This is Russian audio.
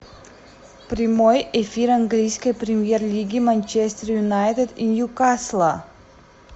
прямой эфир английской премьер лиги манчестер юнайтед и ньюкасла